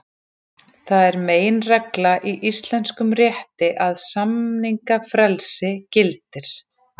Það er meginregla í íslenskum rétti að samningafrelsi gildir.